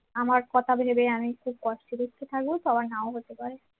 আমার কথা ভেবে আমি খুব কষ্টে বিস্টে থাকবো তো আবার নাও হতে পারে